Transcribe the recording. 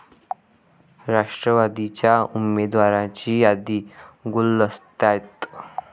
राष्ट्रवादीच्या उमेदवारांची यादी गुलदस्त्यात